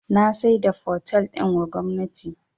Na saida fotel din wa gwamnati